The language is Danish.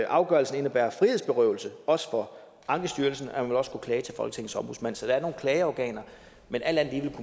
afgørelsen indebærer frihedsberøvelse også for ankestyrelsen og man vil også kunne klage til folketingets ombudsmand så der er nogle klageorganer men alt andet